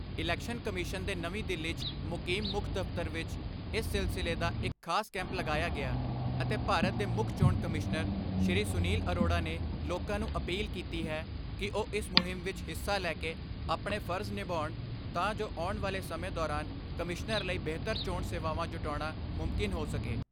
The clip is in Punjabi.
ਇਲੈਕਸ਼ਨ ਕਮਿਸ਼ਨ ਦੇ ਨਵੀਂ ਦਿੱਲੀ ' ਚ ਮੁਕੀਮ ਮੁੱਖ ਦਫਤਰ ਵਿੱਚ ਇਸ ਸਿਲਸਿਲੇ ਦਾ ਇੱਕ ਖਾਸ ਕੈਂਪ ਲਗਾਇਆ ਗਿਆ ਅਤੇ ਭਾਰਤ ਦੇ ਮੁੱਖ ਚੋਣ ਕਮਿਸ਼ਨਰ ਸ਼੍ਰੀ ਸੁਨੀਲ ਅਰੋੜਾ ਨੇ ਲੋਕਾਂ ਨੂੰ ਅਪੀਲ ਕੀਤੀ ਹੈ ਕਿ ਉਹ ਇਸ ਮੁਹਿਮ ਵਿੱਚ ਹਿੱਸਾ ਲੈਕੇ ਆਪਣੇ ਫਰਜ ਨਿਭਾਉਣ ਤਾਂ ਜੋ ਆਉਣ ਵਾਲੇ ਸਮੇਂ ਦੌਰਾਨ ਕਮਿਸ਼ਨਰ ਲਈ ਬੇਹਤਰ ਚੋਣ ਸੇਵਾਵਾਂ ਜੁਟਾਉਣਾ ਮੁਮਕਿਨ ਹੋ ਸਕੇ।